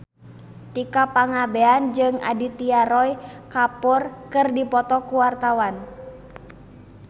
Tika Pangabean jeung Aditya Roy Kapoor keur dipoto ku wartawan